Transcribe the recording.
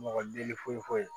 Mɔgɔ deli foyi